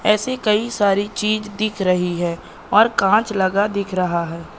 ऐसे कई सारी चीज दिख रही है और कांच लगा दिख रहा है।